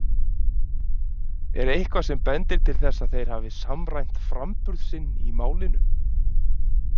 Er eitthvað sem bendir til þess að þeir hafi samræmt framburð sinn í málinu?